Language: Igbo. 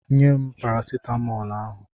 Nye m parasitamọl ahụ!